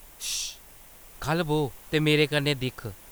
शश्.....!ख'ल्ल बौह् ते मेरे कन्नै दिक्ख